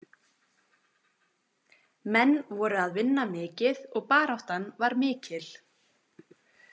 Menn voru að vinna mikið og baráttan var mikil.